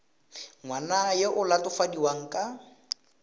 ngwana yo o latofadiwang ka